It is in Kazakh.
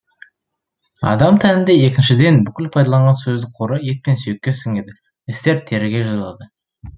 адам тәнінде екіншіден бүкіл пайдаланған сөздік қоры ет пен сүйекке сіңеді істер теріге жазылады